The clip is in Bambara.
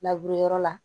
labure yɔrɔ la